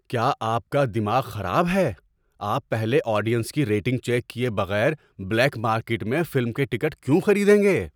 کیا آپ کا دماغ خراب ہے؟ آپ پہلے آڈیئنس کی ریٹنگ چیک کیے بغیر بلیک مارکیٹ میں فلم کے ٹکٹ کیوں خریدیں گے؟